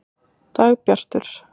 Dagbjartur